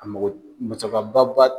A mɔgɔ musaka ba ba.